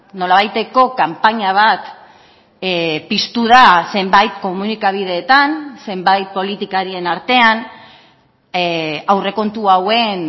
nolabaiteko kanpaina bat piztu da zenbait komunikabideetan zenbait politikarien artean aurrekontu hauen